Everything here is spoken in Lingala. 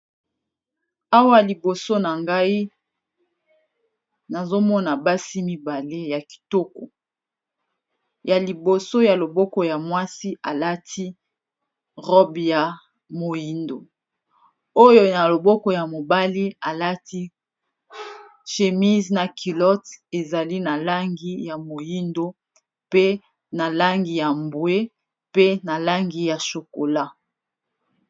Awa liboso na ngai nazomona basi mibale ya kitoko ya liboso ya loboko ya mwasi alati robe ya mooyindo yo na loboko ya mobali alati chémise na culotte ezali na langi ya moyindo pe na langi ya mbwe pe na langi ya chokola.